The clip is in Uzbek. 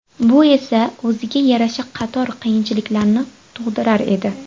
Bu esa o‘ziga yarasha qator qiyinchiliklarni tug‘dirar edi.